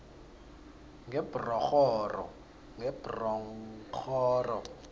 ngebronghoro